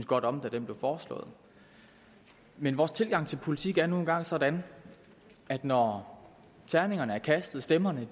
godt om da den blev foreslået men vores tilgang til politik er nu engang sådan at når terningerne er kastet stemmerne er